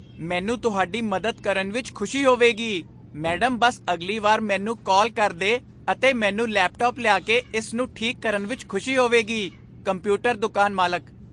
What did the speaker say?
ਮੈਨੂੰ ਹੁਣ ਤੁਹਾਡੀ ਮਦਦ ਕਰਨ ਵਿੱਚ ਖੁਸ਼ੀ ਹੋਵੇਗੀ, ਮੈਡਮ ਬਸ ਅਗਲੀ ਵਾਰ ਮੈਨੂੰ ਕਾਲ ਕਰ ਦੇ ਅਤੇ ਮੈਨੂੰ ਲੈਪਟਾਪ ਲਿਆ ਕੇ ਇਸ ਨੂੰ ਠੀਕ ਕਰਨ ਵਿੱਚ ਖੁਸ਼ੀ ਹੋਵੇਗੀ ਕੰਪਿਊਟਰ ਦੁਕਾਨ ਮਾਲਕ